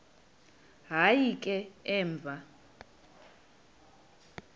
hayi ke emva